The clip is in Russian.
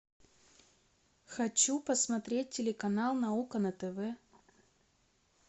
хочу посмотреть телеканал наука на тв